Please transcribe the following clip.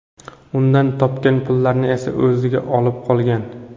Undan topgan pullarni esa o‘ziga olib qolgan.